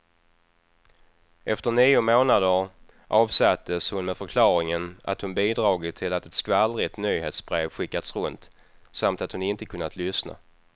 Efter nio månader avsattes hon med förklaringen att hon bidragit till att ett skvallrigt nyhetsbrev skickats runt, samt att hon inte kunnat lyssna.